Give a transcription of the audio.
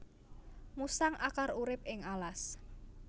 Musang akar urip ing alas